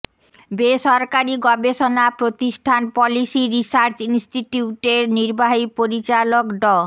বেসরকারি গবেষণা প্রতিষ্ঠান পলিসি রিসার্চ ইনস্টিটিউটের নির্বাহী পরিচালক ড